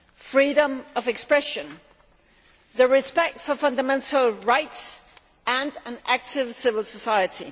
freedom of expression, the respect for fundamental rights and an active civil society.